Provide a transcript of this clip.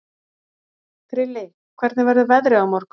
Krilli, hvernig verður veðrið á morgun?